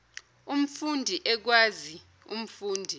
umfundi ekwazi umfundi